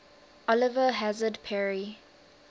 oliver hazard perry